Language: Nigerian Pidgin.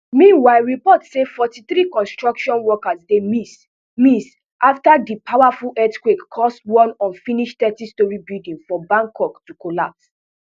meanwhile reports say forty three construction workers dey miss miss afta di powerful earthquake cause one unfinished thirty storey building for bangkok to collapse